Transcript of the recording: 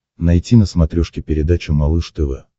найти на смотрешке передачу малыш тв